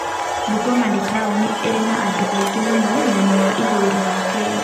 Bungoma nĩ taũni ĩrĩ na andũ aingĩ mũno mwena wa ithũĩro wa Kenya.